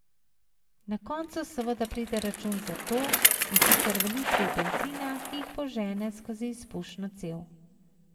Na koncu seveda pride račun za to, in sicer v litrih bencina, ki jih požene skozi izpušno cev.